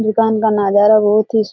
दुकान का नजारा बहुत ही सुन्द --